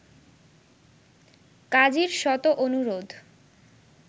কাজীর শত অনুরোধ